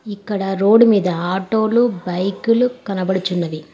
ఇక్కడ రోడ్డు మీద ఆటో లు బైకులు కనబడుచున్నది.